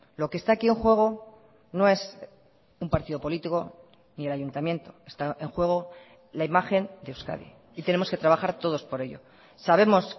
lo que está aquí en juego no es un partido político ni el ayuntamiento está en juego la imagen de euskadi y tenemos que trabajar todos por ello sabemos